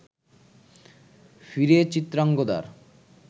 ফিরে চিত্রাঙ্গদার